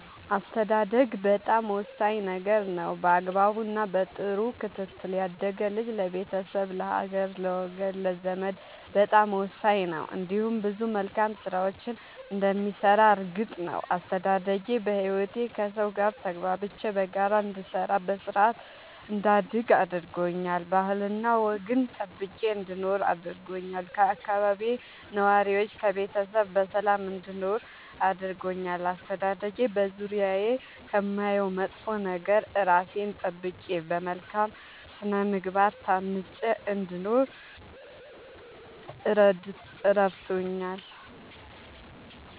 አስተዳደግ በጣም ወሳኝ ነገር ነው በአግባቡ እና በጥሩ ክትትል ያደገ ልጅ ለቤተሰብ ለሀገር ለወገን ለዘመድ በጣም ወሳኝ ነው እንዲሁም ብዙ መልካም ስራዎችን እንደሚሰራ እርግጥ ነው። አስተዳደጌ በህይወቴ ከሠው ጋር ተግባብቼ በጋራ እንድሰራ በስርአት እንዳድግ አድርጎኛል ባህልና ወግን ጠብቄ እንድኖር አድርጎኛል ከአካባቢዬ ነዋሪዎች ከቤተሰብ በሰላም እንድኖር አድርጎኛል። አስተዳደጌ በዙሪያዬ ከማየው መጥፎ ነገር እራሴን ጠብቄ በመልካም ስነ ምግባር ታንጬ እንድኖር እረድቶኛል።